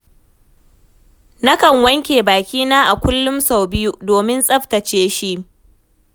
Nakan wanke bakina a kullum sau biyu, domin tsafatace shi.